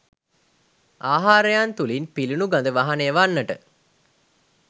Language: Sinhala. ආහාරයන් තුළින් පිළිනු ගද වහනය වන්නට